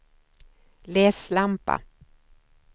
läslampa